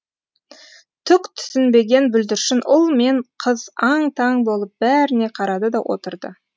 түк түсінбеген бүлдіршін ұл мен қыз аң таң болып бәріне қарады да отырды